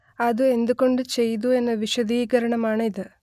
അത്എന്തു കൊണ്ട് ചെയ്തു എന്ന വിശദീകരണം ആണ് ഇത്